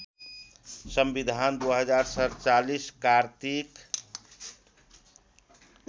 संविधान २०४७ कार्तिक